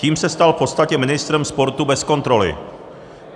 Tím se stal v podstatě ministrem sportu bez kontroly.